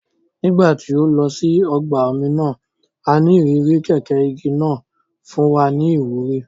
Nígbà tí a lọ sí ọgbà omi náà,a ní ìrírí kẹ̀kẹ́ igi náà fún wa ní ìwúrí